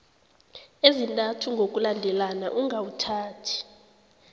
ezintathu ngokulandelana ungawuthathi